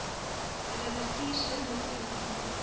hulle bestuurslisensie verloor